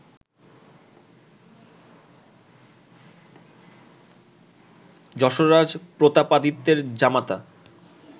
যশোররাজ প্রতাপাদিত্যের জামাতা